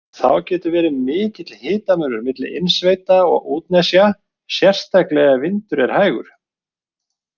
Þá getur verið mikill hitamunur milli innsveita og útnesja, sérstaklega ef vindur er hægur.